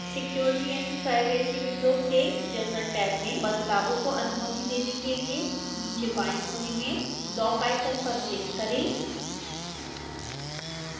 security & privacy window से general tab में बदलावों को अनुमति देने के लिए नीचे बाएं कोने में लॉक आइकन पर क्लिक करें